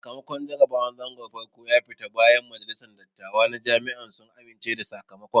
Sakamakon jarabawar zangon farko ya fita bayan majalisan dattawa na Jami'a sun amince da sakamakon